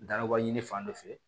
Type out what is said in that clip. Dabɔɲini fan dɔ fɛ